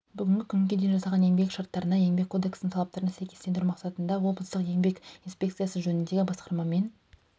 бүгінгі күнге дейін жасалған еңбек шарттарына еңбек кодексінің талаптарына сәйкестендіру мақсатында облыстық еңбек инспекциясы жөніндегі басқармамен